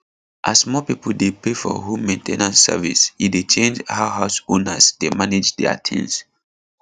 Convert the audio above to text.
as more people dey pay for home main ten ance service e dey change how house owners dey manage their things